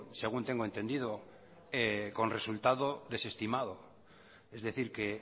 según tengo entendido con resultado desestimado es decir que